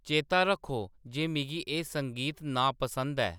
चेता रक्खो जे मिगी एह्‌‌ संगीत नापसन्द ऐ